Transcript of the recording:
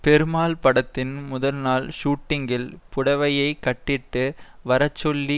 பெருமாள் படத்தின் முதல்நாள் ஷுட்டிங்கில் புடவையை கட்டிட்டு வரச்சொல்லி